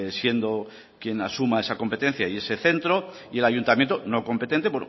siendo quien asuma esa competencia y ese centro y el ayuntamiento no competente